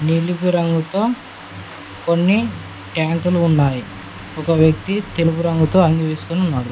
ఇనుపు రంగుతో కొన్ని ట్యాంకులు ఉన్నాయి ఒక వ్యక్తి తెలుపు రంగుతో అంగి వేసుకొని ఉన్నాడు.